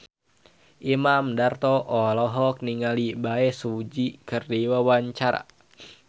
Imam Darto olohok ningali Bae Su Ji keur diwawancara